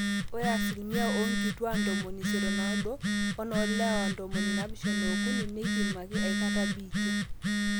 ore asilimia oonkituak 85 wenoolewa 73 neipimaki aikata biitia